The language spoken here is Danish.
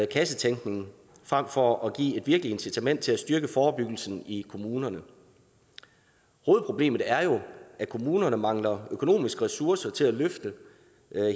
kassetænkning frem for at give et virkeligt incitament til at styrke forebyggelsen i kommunerne hovedproblemet er jo at kommunerne mangler økonomiske ressourcer til at løfte